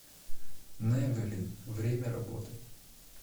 невелин время работы